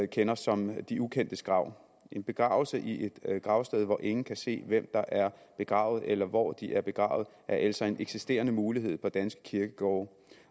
kender som de ukendtes krav en begravelse i et gravsted hvor ingen kan se hvem der er begravet eller hvor de er begravet er altså en eksisterende mulighed på danske kirkegårde